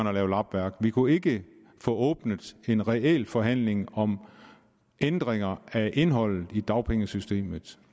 at lave lappeværk vi kunne ikke få åbnet en reel forhandling om ændringer af indholdet i dagpengesystemet